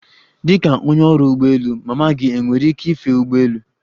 Dịka onye ọrụ ụgbọ elu, mama gị enwere ike ife ụgbọelu?